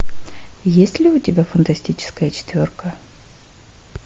есть ли у тебя фантастическая четверка